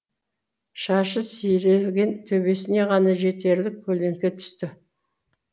шашы сиреген төбесіне ғана жетерлік көлеңке түсті